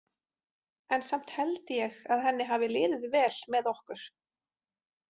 En samt held ég að henni hafi liðið vel með okkur.